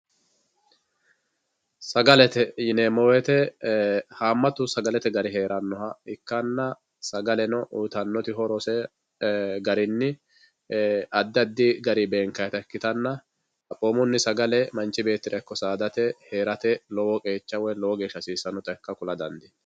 sagalete yineemmo woyte haammatu sagalete gari heerannoha ikkanna sagaleno utanose horo garinni addi addi gari beenkayta ikkitanna xaphoomunni sagale manchi beettira ikko saadate heerate lowo qqecha wo lowo geeshsha hasiissannota kula dandiinanni